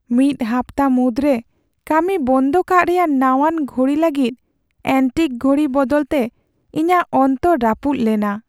ᱢᱤᱫ ᱦᱟᱯᱛᱟ ᱢᱩᱫᱽᱨᱮ ᱠᱟᱹᱢᱤ ᱵᱚᱱᱫᱚ ᱠᱟᱜ ᱨᱮᱭᱟᱜ ᱱᱟᱣᱟᱱ ᱜᱷᱚᱲᱤ ᱞᱟᱹᱜᱤᱫ ᱮᱹᱱᱴᱤᱠ ᱜᱷᱚᱲᱤ ᱵᱚᱫᱚᱞᱛᱮ ᱤᱧᱟᱹᱜ ᱚᱱᱛᱚᱨ ᱨᱟᱹᱯᱩᱫ ᱞᱮᱱᱟ ᱾